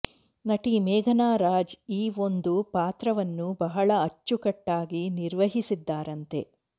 ನಟಿ ಮೇಘನಾ ರಾಜ್ ಈ ಒಂದು ಪಾತ್ರವನ್ನು ಬಹಳ ಆಚುಕಟ್ಟಾಗಿ ನಿರ್ವಹಿಸಿದ್ದಾರೆಂತೆ